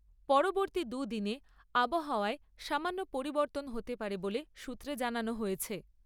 পরবর্তী দুদিনে আবহাওয়ায় সামান্য পরবর্তন হতে পারে বলে সূত্রে জানানো হয়েছে।